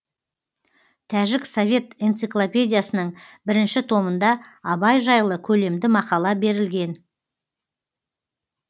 тәжік совет энциклопедиясының бірінші томында абай жайлы көлемді мақала берілген